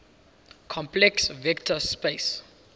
complex vector space